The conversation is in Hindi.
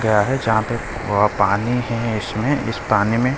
क्या है जहां पे पानी है इसमें इस पानी में --